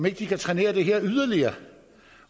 ikke kan trænere det her yderligere